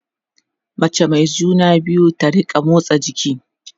mace Mai juna biyu ta rinka motsa jiki